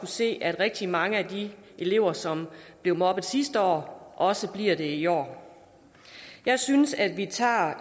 se er at rigtig mange af de elever som blev mobbet sidste år også bliver det i år jeg synes at vi tager